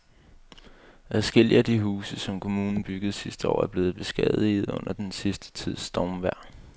Adskillige af de huse, som kommunen byggede sidste år, er blevet beskadiget under den sidste tids stormvejr.